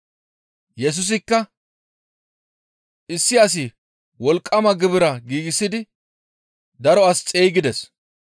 Yesusikka, «Issi asi wolqqama gibira giigsidi daro as xeygides.